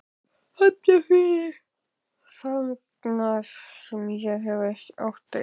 Hafnarfirði, þangað sem ég hef lengi átt erindi.